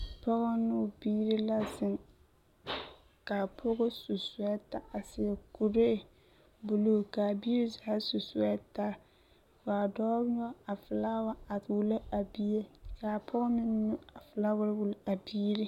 pɔge new o birii la zeŋ ka a pɔge su suɛta a seɛ kɔrɛ buluu ka a birii zaa su suɛtari ka dɔ noɔ a fɛlawa a wulo a bie a pɔge meŋ noɔ a fɛlawa a wulo a birii